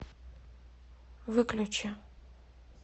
выключи